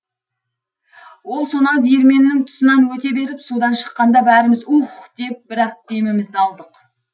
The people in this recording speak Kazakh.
ол сонау диірменнің тұсынан өте беріп судан шыққанда бәріміз уһ деп бір ақ демімізді алдық